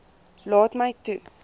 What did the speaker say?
laat my toe